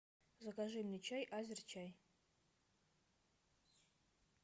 закажи мне чай азерчай